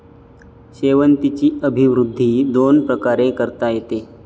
शेवंतीची अभिवृद्धी दोन प्रकारे करता येते.